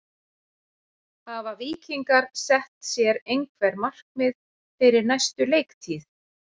Hafa Víkingar sett sér einhver markmið fyrir næstu leiktíð?